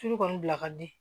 Tulu kɔni bila ka di